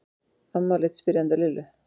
Amma leit spyrjandi á Lillu.